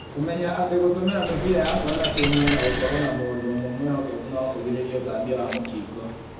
Kũmenya atĩ gũtũmĩra mĩbira ya kuonana kĩ-mwĩrĩ na gũkorũo na mũndũ ũmwe mwĩhokeku nokũgirĩrĩrie ũtambia wa mũkingo